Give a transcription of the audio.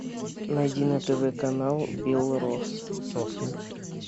найди на тв канал белрос